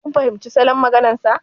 Kin fahimci salon maganar sa.